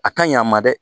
A ka ɲi a ma dɛ